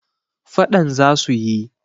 fadan za su yi